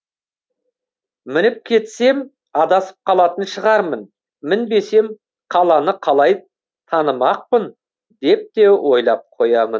мініп кетсем адасып қалатын шығармын мінбесем қаланы қалай танымақпын деп те ойлап қоямын